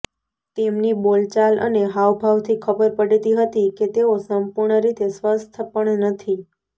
તેમની બોલચાલ અને હાવભાવથી ખબર પડતી હતી કે તેઓ સંપૂર્ણ રીતે સ્વસ્થ પણ નથી